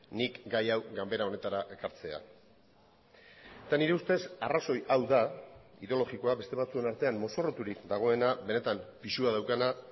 nik gai hau ganbara honetara ekartzea eta nire ustez arrazoi hau da ideologikoa beste batzuen artean mozorroturik dagoena benetan pisua daukana